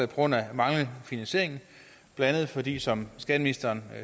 grund af manglende finansiering blandt andet fordi det som skatteministeren